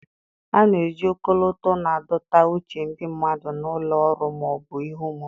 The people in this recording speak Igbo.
A na-eji ọkọlọtọ na-adọta uche ndị mmadụ na ụlọ ọrụ ma ọ bụ ihe omume.